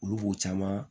Olu b'o caman